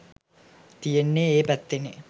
තියෙන්නෙත් ඒ පැත්තේනේ